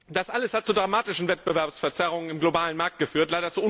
Das alles hat zu dramatischen Wettbewerbsverzerrungen im globalen Markt geführt.